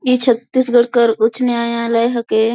ई छत्तीसगढ़ कर उच्च न्यायालय हेके।